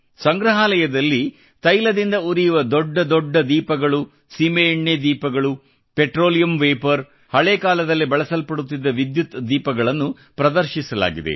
ಸಂಗ್ರಹಾಲಯದಲ್ಲಿ ತೈಲದಿಂದ ಉರಿಯುವ ದೊಡ್ಡದೊಡ್ಡ ದೀಪಗಳು ಸೀಮೆ ಎಣ್ಣೆ ದೀಪಗಳು ಪೆಟ್ರೋಲಿಯಂ ವೇಪರ್ ಹಳೇ ಕಾಲದಲ್ಲಿ ಬಳಸಲ್ಪಡುತ್ತಿದ್ದ ವಿದ್ಯುತ್ ದೀಪಗಳನ್ನು ಪ್ರದರ್ಶಿಸಲಾಗಿದೆ